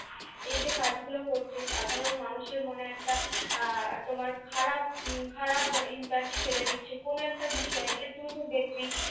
এই যে কাজ গুলো করছে, সাধারণ মানুষের মনে একটা আহ তোমার খারাপ উম খারাপ IMPACT ফেলে দিচ্ছে কোন একটা বিষয় আহ তুমিত দেখবি।